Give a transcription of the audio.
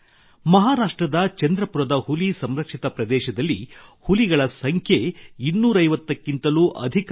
ಮಹಾರಾಷ್ಟ್ರದ ಚಂದ್ರಪುರದ ಹುಲಿ ಸಂರಕ್ಷಿತ ಪ್ರದೇಶದಲ್ಲಿ ಹುಲಿಗಳ ಸಂಖ್ಯೆ ಇನ್ನೂರೈವತ್ತಕ್ಕಿಂತಲೂ ಅಧಿಕವಾಗಿದೆ